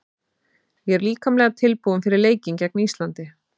Ég er líkamlega tilbúinn fyrir leikinn gegn Íslandi.